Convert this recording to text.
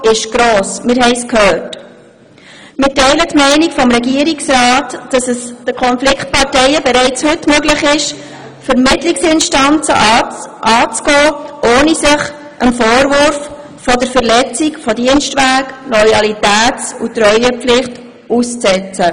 Wir teilen die Haltung des Regierungsrats, dass es den Konfliktparteien bereits heute möglich ist, Vermittlungsinstanzen anzugehen, ohne sich dem Vorwurf der Verletzung des Dienstwegs sowie der Loyalität und Treuepflicht auszusetzen.